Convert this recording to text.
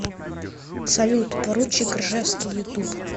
салют поручик ржевский ютуб